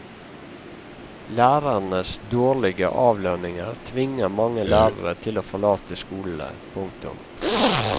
Lærernes dårlige avlønning tvinger mange lærere til å forlate skolene. punktum